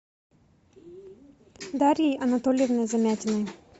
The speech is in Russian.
дарьей анатольевной замятиной